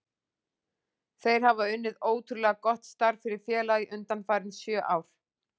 Þeir hafa unnið ótrúlega gott starf fyrir félagið undanfarin sjö ár.